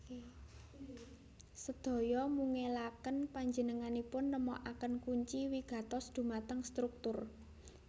Sedaya mungelaken panjenenganipun nemokaken kunci wigatos dhumateng struktur